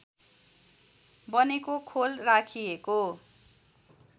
बनेको खोल राखिएको